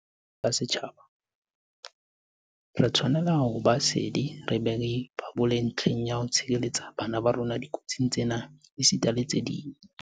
Jwalo ka setjhaba, re tshwanela ho ba sedi re be re ipabole ntlheng ya ho tshireletsa bana ba rona dikotsing tsena esita le tse ding.